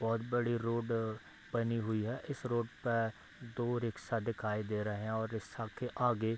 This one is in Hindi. बहुत बड़ी रोड बनी हुई है इस रोड पर दो रिक्सा दिखाई दे रहें हैं और रिक्सा के आगे --